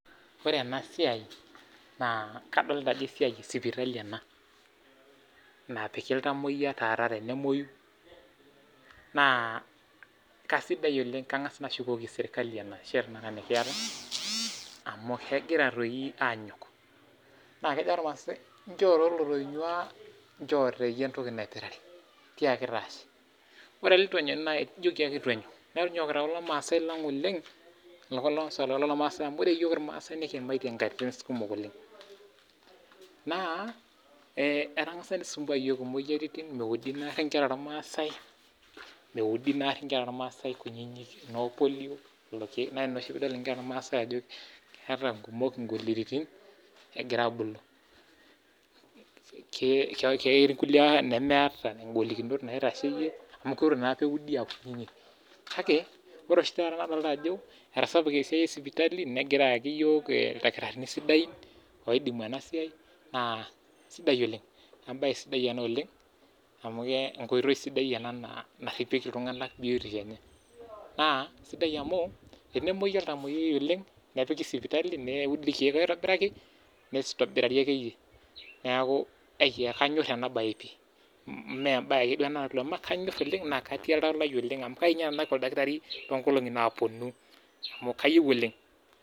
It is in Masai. ore ena siai naa kadolita Ajo esiai hospital naapiki ilngamuoyia taata tenemuoyu naa kaisidai oleng naa kang'as ashukoki sirkali enashe taa nikiata amu kigira doi anyok naa kejo irmasai njoo doi olotonyua njoo doi entoki naipirare tiaki doi Ashe ore oleitu enyok nijoki ake eitu enyok meeta doi ore penyokita kulo maasai lang oleng amu ore iyiok irmasai nikiyimaitie nkatitin kumok oleng naa etang'sa nisumbua iyiok emoyiaritin meudi naare Nkera ormasai kutiti noo polio lelo keek naa Ina oshi peyie idol Nkera ormasai Ajo keeta nkumok golikitin Egira abulu ketii naata golikiton naitasheyie amu eitu eudi AA kutiti kake ore oshi taa kadolita Ajo etasapuka esiai hospital] negira ayaki iyiok Daktari sidain oidimu enasiai naa sidai oleng ebae sidai ena oleng amu enkoitoi sidai ena oleng naaripikie iltungana biotisho enye naa sidai amu enaumuoi olntamuoyiayiai oleng nepiki hosipitali neudi irkek aitobiraki neitobirarie akeyieyie neeku ai ena bae pii mmee ebae ake duo nataluama kanyor oleng naa ketii Oltau lai oleng amu kayieu ninye nanu naaku Daktari too nkolong'i naapuonu amu kayieu oleng